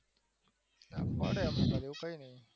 પડે એવું કઈ નહિ